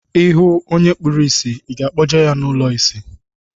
I hụ onye kpuru ìsì, I ga-akpọje ya ụlọ isi?